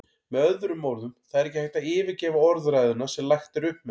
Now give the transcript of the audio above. Með öðrum orðum, það er ekki hægt að yfirgefa orðræðuna sem lagt er upp með.